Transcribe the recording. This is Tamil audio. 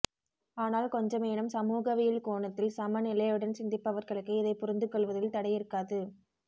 ஆனால் கொஞ்சமேனும் சமூகவியல் கோணத்தில் சமநிலையுடன் சிந்திப்பவர்களுக்கு இதைப் புரிந்துகொள்வதில் தடையிருக்காது